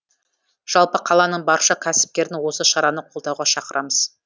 жалпы қаланың барша кәсіпкерін осы шараны қолдауға шақырамыз